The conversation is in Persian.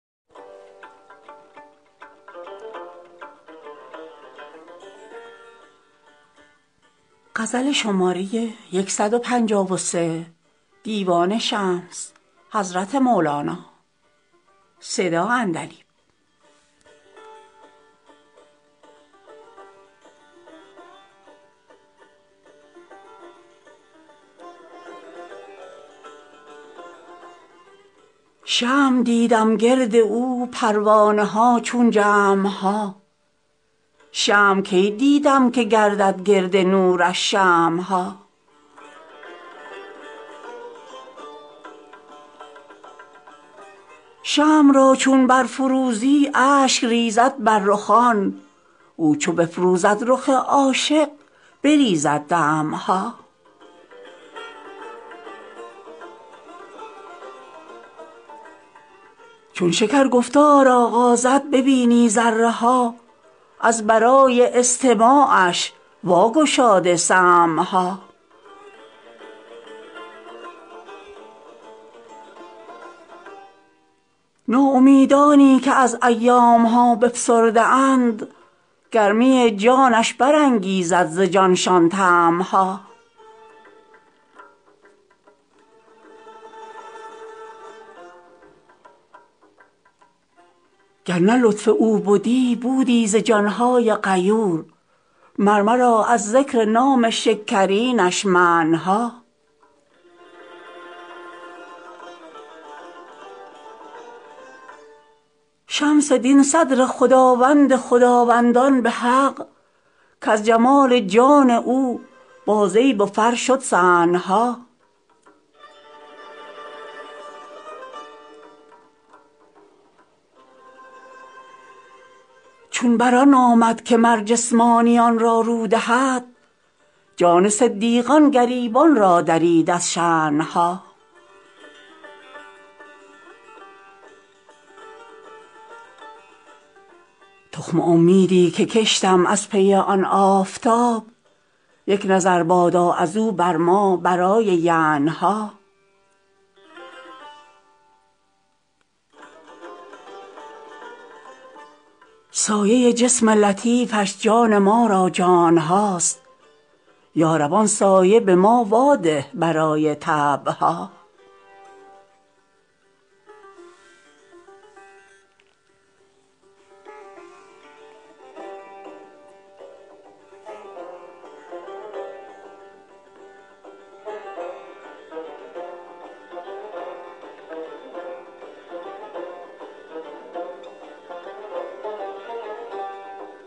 شمع دیدم گرد او پروانه ها چون جمع ها شمع کی دیدم که گردد گرد نورش شمع ها شمع را چون برفروزی اشک ریزد بر رخان او چو بفروزد رخ عاشق بریزد دمع ها چون شکر گفتار آغازد ببینی ذره ها از برای استماعش واگشاده سمع ها ناامیدانی که از ایام ها بفسرده اند گرمی جانش برانگیزد ز جانشان طمع ها گر نه لطف او بدی بودی ز جان های غیور مر مرا از ذکر نام شکرینش منع ها شمس دین صدر خداوند خداوندان به حق کز جمال جان او بازیب و فر شد صنع ها چون بر آن آمد که مر جسمانیان را رو دهد جان صدیقان گریبان را درید از شنع ها تخم امیدی که کشتم از پی آن آفتاب یک نظر بادا از او بر ما برای ینع ها سایه جسم لطیفش جان ما را جان هاست یا رب آن سایه به ما واده برای طبع ها